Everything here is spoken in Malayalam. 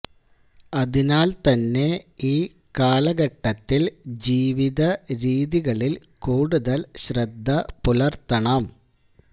അതിനാൽ തന്നെ ഇൌ കാലഘട്ടത്തിൽ ജീവിത രീതികളിൽ കൂടുതൽ ശ്രദ്ധ പുലർത്തണം